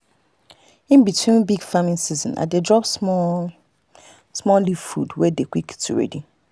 in between big farming season i dey drop small-small leaf food wey dey quick to ready.